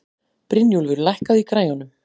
Brynjúlfur, lækkaðu í græjunum.